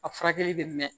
A furakɛli bɛ mɛn